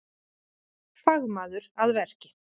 Fagmaður að verki